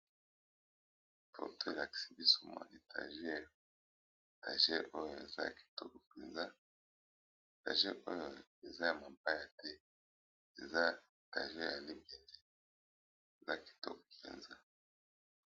photo oyo elakisi biso mwa etageur etageur oyo eza ya kitoko mpenza etageur oyo eza ya mabaya te eza yalimbende eza kitobo mpenza